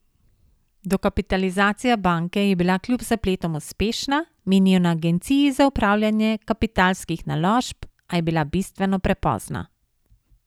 Dokapitalizacija banke je bila kljub zapletom uspešna, menijo na agenciji za upravljanje kapitalskih naložb, a je bila bistveno prepozna.